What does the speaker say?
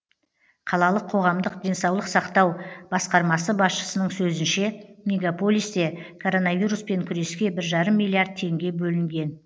қалалық қоғамдық денсаулық сақтау басқармасы басшысының сөзінше мегаполисте коронавируспен күреске бір жарым миллиард теңге бөлінген